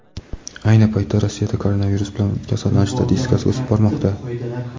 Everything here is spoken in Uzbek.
Ayni paytda Rossiyada koronavirus bilan kasallanish statistikasi o‘sib bormoqda.